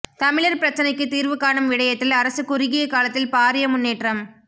தமிழர் பிரச்சினைக்கு தீர்வு காணும் விடயத்தில் அரசு குறுகிய காலத்தில் பாரிய முன்னேற்றம்